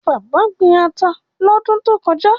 Bàbá gbin ata lọ́dún tó kọjá.